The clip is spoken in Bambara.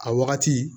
A wagati